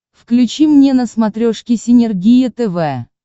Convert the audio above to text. включи мне на смотрешке синергия тв